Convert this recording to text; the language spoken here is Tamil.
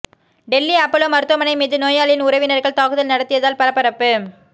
டெல்லி அப்பல்லோ மருத்துவமனை மீது நோயாளியின் உறவினர்கள் தாக்குதல் நடத்தியதால் பரபரப்பு